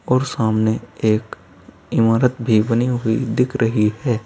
और सामने एक इमारत भी बनी हुई दिख रही है।